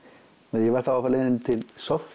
ég var þá á leiðinni til